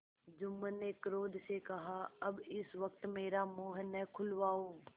जुम्मन ने क्रोध से कहाअब इस वक्त मेरा मुँह न खुलवाओ